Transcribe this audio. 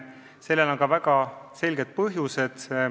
Sellel on ka väga selged põhjused.